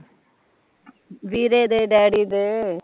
ਵੀਰੇ ਦੇ ਡੈਡੀ ਦੇ